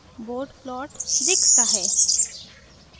bode plot दिखता है